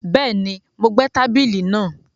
Bẹ́ẹ̀ni, Mo gbẹ́ tábìlì náà